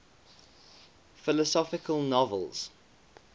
philosophical novels